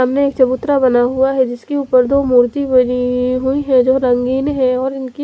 सामने एक चबूतरा बना हुआ है जिसके उपर दप मूर्ति बनी हुई है जो रंगीन है और इनकी--